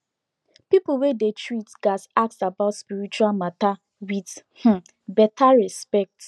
people when dey treat gats ask about spiritual matter with um better respect